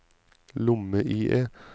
lomme-IE